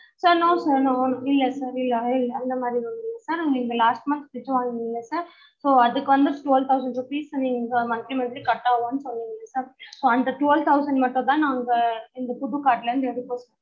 sir no sir no இல்ல sir இல்ல அந்த மாறி இல்ல sir உங்களுக்கு last month fridge வாங்குனிங்கள்ள sir so அதுக்கு வந்து twelve thousand rupees நீங்க வந்து monthly monthly cut ஆவுதா சொல்லுங்க sir so அந்த twelve thousand மட்டும் தான் நாங்க இந்த புது card ல இருந்து எடுப்போம் sir